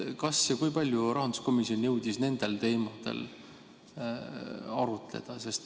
Kas ja kui palju rahanduskomisjon jõudis nendel teemadel arutleda?